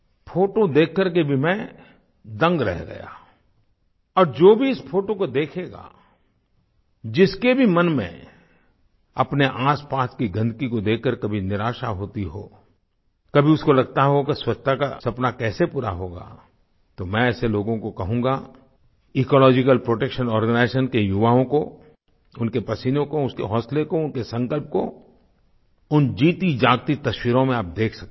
photo देख कर के भी मैं दंग रह गया और जो भी इस फोटो को देखेगा जिसके भी मन में अपने आसपास की गंदगी को देख कर कभी निराशा होती हो कभी उसको लगता हो कि स्वच्छता का सपना कैसे पूरा होगा तो मैं ऐसे लोगो को कहूँगा इकोलॉजिकल प्रोटेक्शन आर्गेनाइजेशन के युवाओं को उनके पसीनों को उनके हौसले को उनके संकल्प को उन जीतीजागती तस्वीरों में आप देख सकते हैं